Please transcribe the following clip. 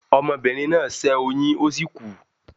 Omobìnrin náà ṣẹ́ oyín ó sì kú